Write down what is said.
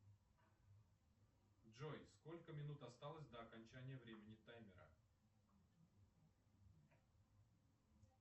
джой сколько минут осталось до окончания времени таймера